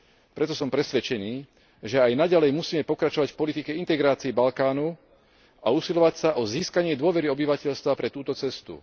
Preto som presvedčený, že aj naďalej musíme pokračovať v politike integrácie Balkánu a usilovať sa o získanie dôvery obyvateľstva pre túto cestu.